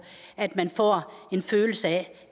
at man får en følelse af